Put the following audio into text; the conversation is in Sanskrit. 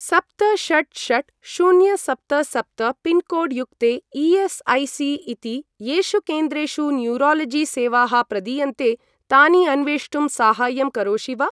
सप्त षट् षट् शून्य सप्त सप्त पिन्कोड् युक्ते ई.एस्.ऐ.सी.इति येषु केन्द्रेषु न्यूरालजि सेवाः प्रदीयन्ते तानि अन्वेष्टुं साहाय्यं करोषि वा?